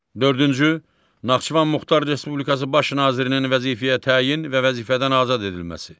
Dördüncü Naxçıvan Muxtar Respublikası Baş nazirinin vəzifəyə təyin və vəzifədən azad edilməsi.